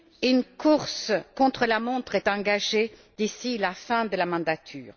Une course contre la montre est engagée d'ici la fin de la mandature.